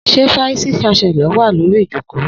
Sẹ fàisí ṣàsẹló wà lòrí ìjọkọ?